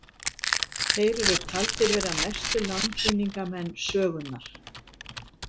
Þeir eru taldir vera mestu landvinningamenn sögunnar.